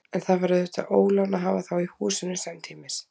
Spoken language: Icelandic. En það var auðvitað ólán að hafa þá í húsinu samtímis.